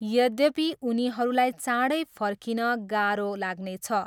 यद्यपि उनीहरूलाई चाँडै फर्किन गाह्रो लाग्नेछ।